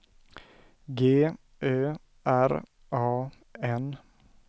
G Ö R A N